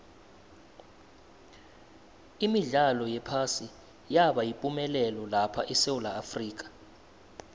imidlalo yephasi yaba yipumelelo lapha esewula afrika